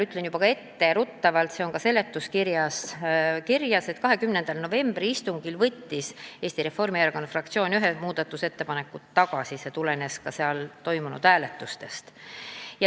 Ütlen etteruttavalt, et komisjoni 20. novembri istungil võttis Eesti Reformierakonna fraktsioon ühe muudatusettepaneku tagasi, see tulenes seal toimunud hääletustest.